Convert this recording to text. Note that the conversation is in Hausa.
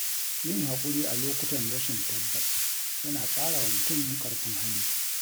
Yin haƙuri a lokutan rashin tabbas yana ƙara wa mutum ƙarfin hali.